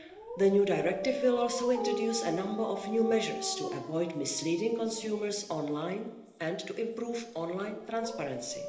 The new directive will also introduce a number of new measures to avoid misleading consumers online and to improve online transparency.